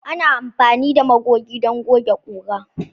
Ana amfani da magoge don goge ƙura.